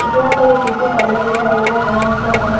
मुझे यहाँ पर एक ब्यूटी पार्लर दिखाई दे रहा है। जहाँ पर बहुत--